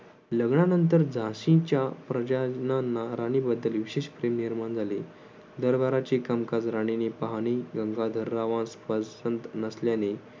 लग्नानंतर झाशीच्या प्रजाजनांना राणीबद्दल विशेष प्रेम निर्माण झाले. दरबाराची कामकाज राणीने पाहणे गंगाधररावास पसंत नसल्याने